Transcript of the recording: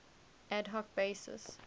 ad hoc basis